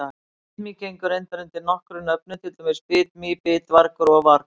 Bitmý gengur reyndar undir nokkrum nöfnum, til dæmis bitmý, bitvargur og vargur.